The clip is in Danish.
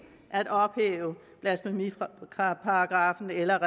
at ophæve blasfemiparagraffen eller